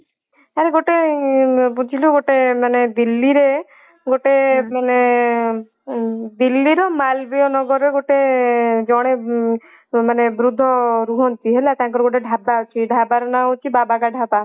ଆରେ ଗୋଟେ ବୁଝିଲୁ ଗୋଟେ ମାନେ ଦିଲ୍ଲୀରେ ଗୋଟେ ମାନେ ଦିଲ୍ଲୀରୁ ମାଲବୀୟ ନଗରରେ ଗୋଟେ ଜଣେ ମାନେ ବୃଦ୍ଧ ରୁହନ୍ତି ହେଲା ତାଙ୍କର ଗୋଟେ ଢାବା ଅଛି ସେଇ ଢାବାର ନା ହଉଛି ବାବାକା ଢାବା ହେଲା।